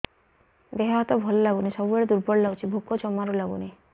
ଦେହ ହାତ ଭଲ ଲାଗୁନି ସବୁବେଳେ ଦୁର୍ବଳ ଲାଗୁଛି ଭୋକ ଜମାରୁ ଲାଗୁନି